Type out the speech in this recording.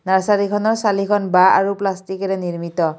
নাৰ্চাৰীখনৰ চালিখন বাঁহ আৰু প্লাষ্টিকেৰে নিৰ্মিত।